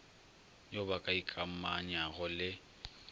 yo ba ka ikamanyago le